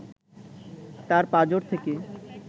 তার পাঁজর থেকে